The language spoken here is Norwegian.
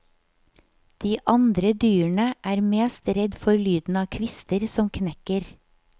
De andre dyrene er mest redd for lyden av kvister som knekker.